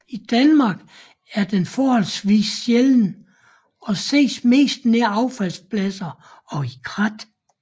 I Danmark er den forholdsvis sjælden og ses mest nær affaldspladser og i krat